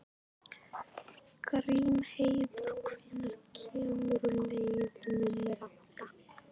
Grímheiður, hvenær kemur leið númer átta?